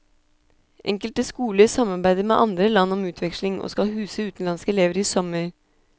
Enkelte skoler samarbeider med andre land om utveksling, og skal huse utenlandske elever i sommer.